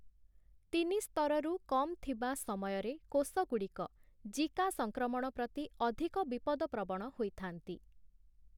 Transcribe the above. ତିନି ସ୍ତରରୁ କମ୍ ଥିବା ସମୟରେ କୋଷଗୁଡ଼ିକ 'ଜିକା' ସଂକ୍ରମଣ ପ୍ରତି ଅଧିକ ବିପଦପ୍ରବଣ ହୋଇଥାନ୍ତି ।